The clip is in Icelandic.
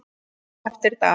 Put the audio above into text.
Eftir dag.